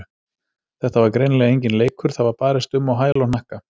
Þetta var greinilega enginn leikur, það var barist um á hæl og hnakka.